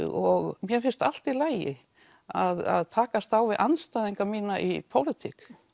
og mér finnst allt í lagi að takast á við andstæðinga mína í pólitík